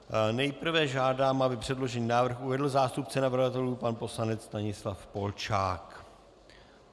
Nejprve žádám, aby předložený návrh uvedl zástupce navrhovatelů pan poslanec Stanislav Polčák.